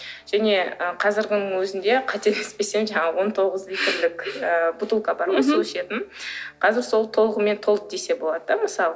және қазіргінің өзінде қателеспесем жаңағы он тоғыз литрлік бутылка бар ғой су ішетін қазір сол толығымен толды десе болады да мысалы